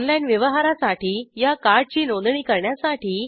online व्यवहारासाठी या कार्डची नोंदणी करण्यासाठी